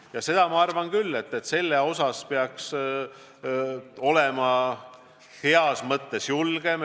Ja seda arvan ma küll, et sel teemal peaks olema heas mõttes julgem.